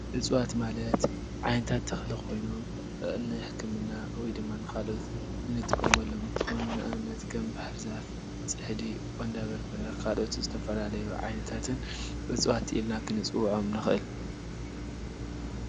ዕፅዋት ማለት ዓይነታት ተክለ ኮይኑ ንሕክምና ወይ ድማ ንካልኦት ንጥቀመሎም እንትኮኑ ንኣብነት ከም ባህሪዛፍ ፣ሊሕፂ፣ ቁንዶ በረበረ ዝተፈላለዩ ዓይነታትን ዕፂዋት ኢልና ክንፅዎዖም ንክእል።